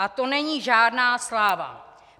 A to není žádná sláva.